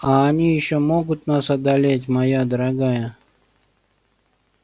а они ещё могут нас одолеть моя дорогая